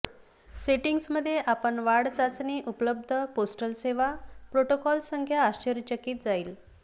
settings मध्ये आपण वाढ चाचणी उपलब्ध पोस्टल सेवा प्रोटोकॉल संख्या आश्चर्यचकित जाईल